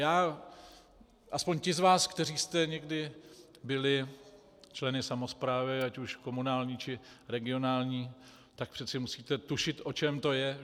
Já - aspoň ti z vás, kteří jste někdy byli členy samosprávy, ať už komunální, či regionální, tak přeci musíte tušit, o čem to je.